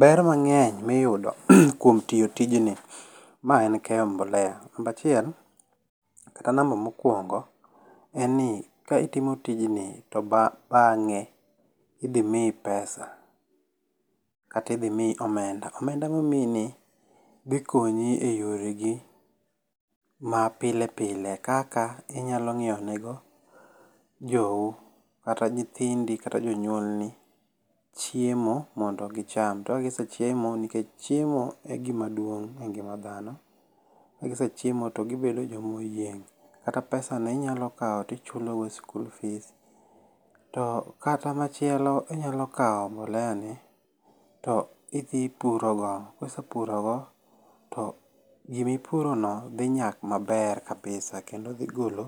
Ber mang'eny miyudo kuom tiyo tijni, mae en keyo mbolea, Namba achiel kata namba mokuongo, en ni ka itimo tijni to bang'e idhi miyi pesa. Katidhi miyi omenda. Omenda momiyi ni dhikonyi e yoregi mapile pile kaka inyalo ng'iew ne go jou kata nyithindi kata jonyuolni chiemo mondo gicham. To kagise chiemo nikech chiemo igima duong' e ngima dhano. Kegisechiemo togibedo jomoyieng'. Kata pesa no inyalo kaw to ichulo go school fees. To kata machielo inyalo kaw mboleya ni to idhi puro go. Kisepuro go to gimipuro no dhi nyak maber kabisa kendo dhi golo